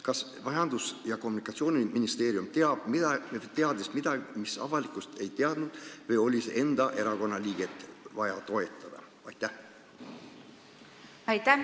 Kas Majandus- ja Kommunikatsiooniministeerium teadis midagi, mida avalikkus ei teadnud, või oli vaja enda erakonnaliiget toetada?